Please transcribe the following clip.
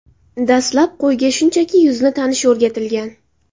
Dastlab qo‘yga shunchaki yuzni tanish o‘rgatilgan.